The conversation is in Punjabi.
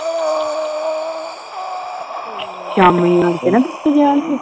ਸ਼ਾਮੀਂ ਆਣ ਕੇ ਨਾ